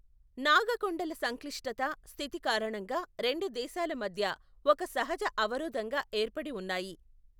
నాగ కొండల సంక్లిష్టత, స్థితి కారణంగా రెండు దేశాల మధ్య ఒక సహజ అవరోధంగా ఏర్పడి ఉన్నాయి.